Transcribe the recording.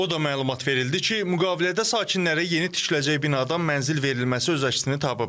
O da məlumat verildi ki, müqavilədə sakinləri yeni tikiləcək binadan mənzil verilməsi öz əksini tapıb.